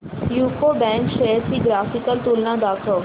UCO bank shares ची graphical तुलना दाखव